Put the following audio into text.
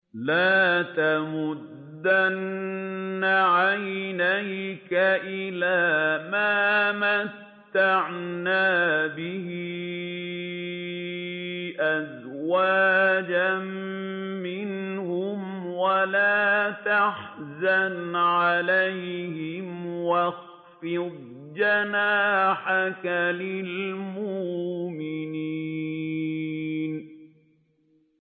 لَا تَمُدَّنَّ عَيْنَيْكَ إِلَىٰ مَا مَتَّعْنَا بِهِ أَزْوَاجًا مِّنْهُمْ وَلَا تَحْزَنْ عَلَيْهِمْ وَاخْفِضْ جَنَاحَكَ لِلْمُؤْمِنِينَ